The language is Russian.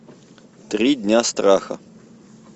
три дня страха